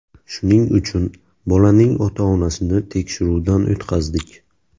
Shuning uchun, bolaning ota-onasini tekshiruvdan o‘tkazdik.